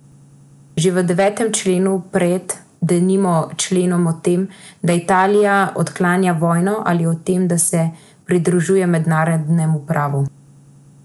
Že v devetem členu, pred, denimo, členom o tem, da Italija odklanja vojno, ali o tem, da se pridružuje mednarodnemu pravu.